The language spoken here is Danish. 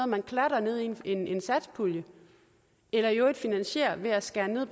man klatter ned i en satspulje eller i øvrigt finansierer ved at skære ned